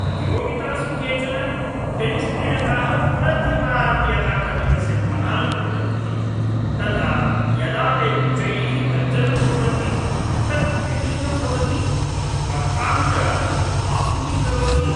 प्रतियोगितासु केचन टेनिस्क्रीडकाः प्रतिवारं यदा कन्दुकस्य प्रहारं कुर्वन्ति, तदा यदा ते उच्चैः गर्जनं कुर्वन्ति तत् व्यलीकं भवति, स्पर्धां च आकुलीकरोति।